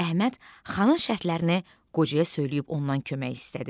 Əhməd xanın şərtlərini qocaya söyləyib ondan kömək istədi.